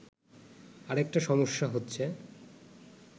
আরেকটা সমস্যা হচ্ছে